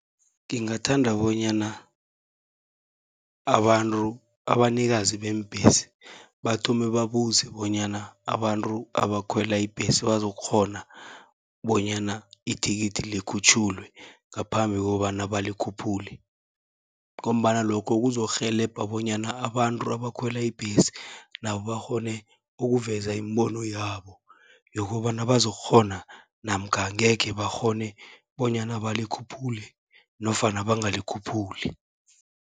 Ngingathanda bonyana abanikazi beembhesi, bathome babuze bonyana abantu abakhwela ibhesi bazokukghona bonyana ithikithi likhutjhulwe, ngaphambi kokobana balikhuphule. Ngombana lokho kuzokurhelebha bonyana abantu abakhwela ibhesi, nabo bakghone ukuveza imibono yabo yokobana bazokukghona namkha angekhe bakghone, bonyana balikhuphule nofana bangalikhuphuli.